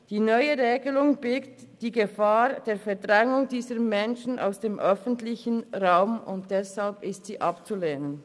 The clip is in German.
Die neue Regelung birgt die Gefahr der Verdrängung dieser Menschen aus dem öffentlichen Raum, und deshalb ist sie abzulehnen.